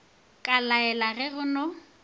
ka laela ge go na